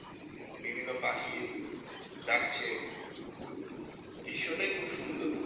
বিভিন্ন পাখি ডাকছে দৃশ্যটাই খুব সুন্দর।